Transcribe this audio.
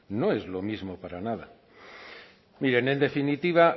no es lo mismo para nada miren en definitiva